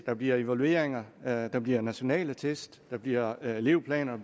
der bliver evalueringer at der bliver nationale test at der bliver elevplaner